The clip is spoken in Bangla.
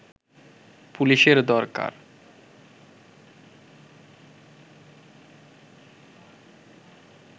পুলিশের দরকার